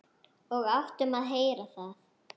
Og áttum að heyra það.